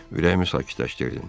Ürəyimi sakitləşdirdin.